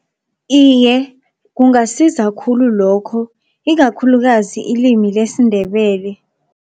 Iye, kungasiza khulu lokho ikakhulukazi ilimi lesiNdebele.